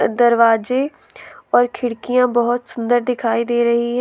दरवाजे और खिड़कियां बहुत सुंदर दिखाई दे रही है।